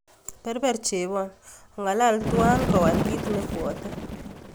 Berber chebon, o'ngalal tuwan kowal kit nebwote